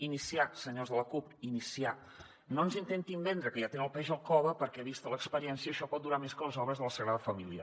iniciar senyors de la cup iniciar no ens intentin vendre que ja tenen el peix al cove perquè vista l’experiència això pot durar més que les obres de la sagrada família